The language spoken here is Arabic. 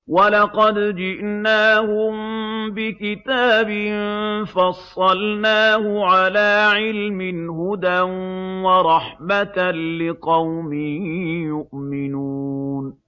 وَلَقَدْ جِئْنَاهُم بِكِتَابٍ فَصَّلْنَاهُ عَلَىٰ عِلْمٍ هُدًى وَرَحْمَةً لِّقَوْمٍ يُؤْمِنُونَ